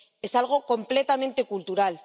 es algo completamente cultural